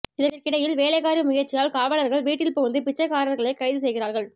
இதற்கிடையில் வேலைக்காரி முயற்சியால் காவலர்கள் வீட்டில் புகுந்து பிச்சைகாரர்களை கைது செய்கிறார்கள்